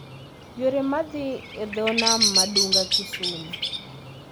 yore mag dhi e dho nam ma Dunga Kisumu